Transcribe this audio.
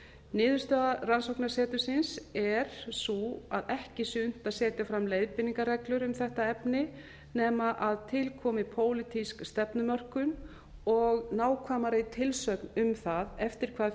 niðurstaða rannsóknasetursins er sú að ekki sé unnt að setja fram leiðbeiningarreglur um þetta efni nema að til komi pólitísk stefnumörkun og nákvæmari tilsögn um það eftir hvaða